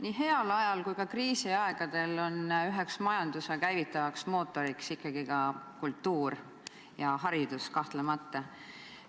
Nii heal ajal kui ka kriisiaegadel on üheks majanduse käivitavaks mootoriks ikkagi ka kultuur, samuti haridus, kahtlemata.